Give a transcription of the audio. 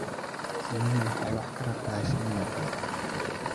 Shinnidu waxay wax ka barataa shinnida kale.